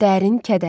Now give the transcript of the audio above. Dərin kədər.